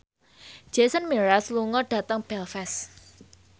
Jason Mraz lunga dhateng Belfast